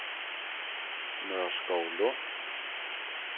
Nørskovlund